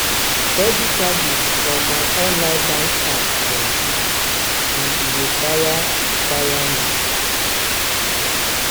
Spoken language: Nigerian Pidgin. steady charges from my online bank app plenti and e dey tire tire me.